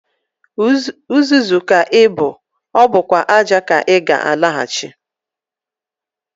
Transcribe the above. Uzuzu ka ị bụ, ọ bụkwa ájá ka ị ga-alaghachi.